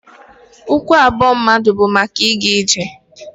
Ụkwụ abụọ mmadụ bu maka ịga ije.